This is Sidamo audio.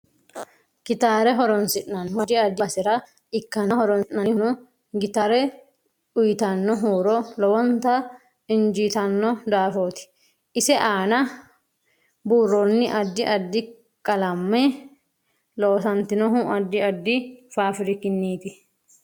Kitaare horoonsinanu addi addi basera ikkanna horoonsinanihuno gitaare uyiitano huuro lowonta ijiitanno daafooti. ise aana buurooni addi addi qalame loosantinohu addi addi faafirikiniiti